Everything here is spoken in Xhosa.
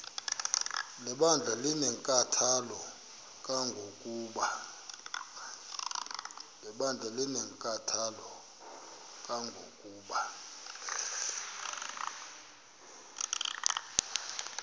lebandla linenkathalo kangangokuba